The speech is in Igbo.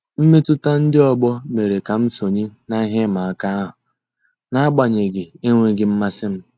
Mmetụta ndị ọgbọ mere ka m sonye n'ihe ịma aka ahụ, n'agbanyeghị enweghị mmasị m.